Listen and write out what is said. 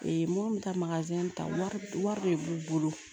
minnu bɛ taa ta wari de b'u bolo